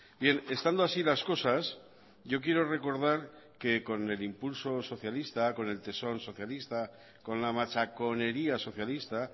bien estando así las cosas yo quiero recordar que con el impulso socialista con el tesón socialista con la machaconería socialista